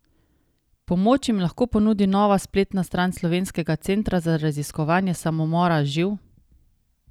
Pomoč jim lahko ponudi nova spletna stran Slovenskega centra za raziskovanje samomora Živ?